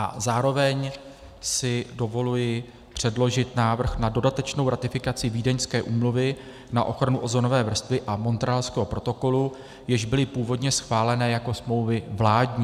A zároveň si dovoluji předložit návrh na dodatečnou ratifikaci Vídeňské úmluvy na ochranu ozonové vrstvy a Montrealského protokolu, jež byly původně schválené jako smlouvy vládní.